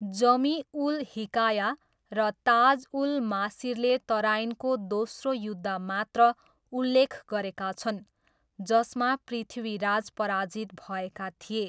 जमी उल हिकाया र ताज उल मासिरले तराइनको दोस्रो युद्ध मात्र उल्लेख गरेका छन्, जसमा पृथ्वीराज पराजित भएका थिए।